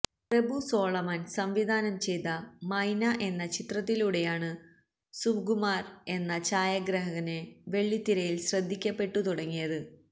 പ്രഭു സോളമന് സംവിധാനം ചെയ്ത മൈന എന്ന ചിത്രത്തിലൂടെയാണ് സുകുമാര് എന്ന ഛായാഗ്രഹകന് വെള്ളിത്തിരയില് ശ്രദ്ധിക്കപ്പെട്ടു തുടങ്ങിയത്